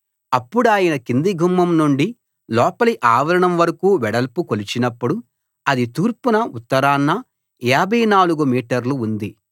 అప్పుడాయన కింది గుమ్మం నుండి లోపలి ఆవరణం వరకూ వెడల్పు కొలిచినప్పుడు అది తూర్పున ఉత్తరాన 54 మీటర్లు ఉంది